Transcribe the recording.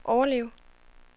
overleve